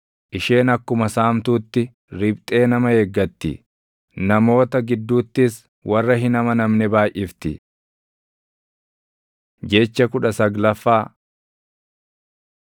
Isheen akkuma saamtuutti riphxee nama eeggatti; namoota gidduuttis warra hin amanamne baayʼifti. Jecha kudha saglaffaa